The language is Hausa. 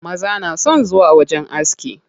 Maza na son zuwa wajen aski.